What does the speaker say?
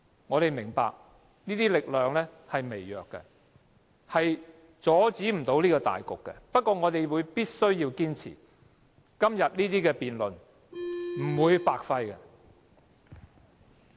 我們明白這些力量是微弱的，是不能阻止大局的，不過我們必須要堅持，今天這些辯論是不會白費的。